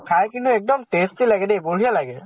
খাই কিন্তু এক্দম tasty লাগে দে, বঢ়িয়া লাগে।